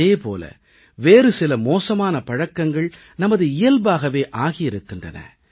இதே போல வேறு சில மோசமான பழக்கங்கள் நமது இயல்பாகவே ஆகி இருக்கின்றன